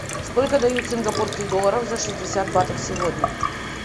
сколько дают сингапурских долларов за шестьдесят батов сегодня